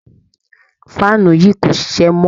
Faanu yìí kò ṣiṣẹ́ mọ́.